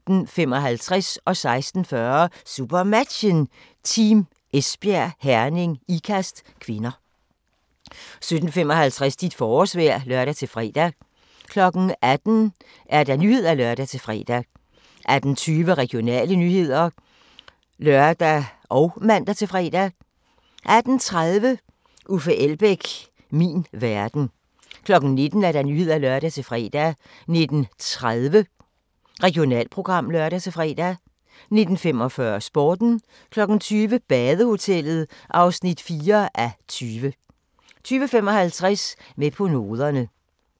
16:40: SuperMatchen: Team Esbjerg - Herning-Ikast (k) 17:55: Dit forårsvejr (lør-fre) 18:00: Nyhederne (lør-fre) 18:20: Regionale nyheder (lør og man-fre) 18:30: Uffe Elbæk - min verden 19:00: Nyhederne (lør-fre) 19:30: Regionalprogram (lør-fre) 19:45: Sporten 20:00: Badehotellet (4:20) 20:55: Med på noderne